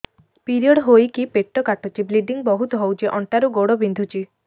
period ହୋଇକି ପେଟ କାଟୁଛି ବ୍ଲିଡ଼ିଙ୍ଗ ବହୁତ ହଉଚି ଅଣ୍ଟା ରୁ ଗୋଡ ବିନ୍ଧୁଛି